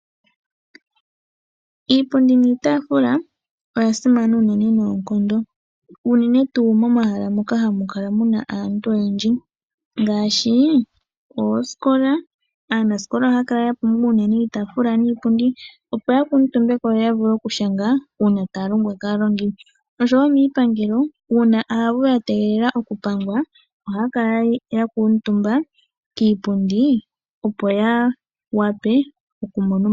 Iipundi niitaafula oya simana noonkondo, unene tuu momahala moka hamu kala mu na aantu oyendji, ngaashi oosikola. Aanasikola ohaya kala unene ya pumbwa iitaafula niipundi, opo ya kuundumbe ko yo yavule uuna taya longwa kaalongi. Miipangelo wo uuna aavu ya tegelela okupangwa ohaya kala ya kuutumba kiipundi, opo ya wape okumona omayakulo.